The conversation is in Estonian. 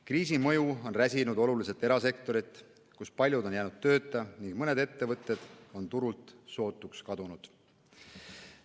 Kriisi mõju on räsinud oluliselt erasektorit, kus paljud on jäänud tööta ning mõned ettevõtted on turult sootuks kadunud.